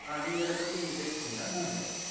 ஆஹ் நீங்க இதப் பத்தி நீங்க பேசறீங்களா இன்னும் கொஞ்சம்